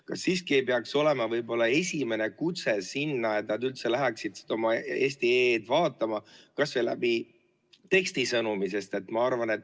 Kas siiski ei peaks olema võib-olla esimene kutse see, et nad üldse läheksid oma eesti.ee-d vaatama, kas või tekstisõnumi kujul?